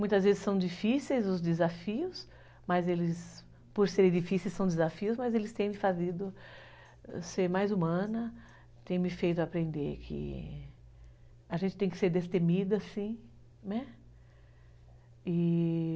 Muitas vezes são difíceis os desafios, mas eles, por serem difíceis, são desafios, mas eles têm me feito ser mais humana, têm me feito aprender que a gente tem que ser destemida, sim, né?